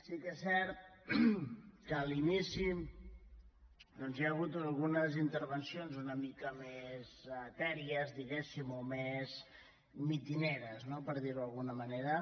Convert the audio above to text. sí que és cert que a l’inici hi ha hagut algunes intervencions una mica més etèries diguem ne o més mitingueres no per dir ho d’alguna manera